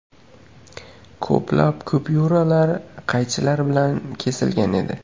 Ko‘plab kupyuralar qaychilar bilan kesilgan edi.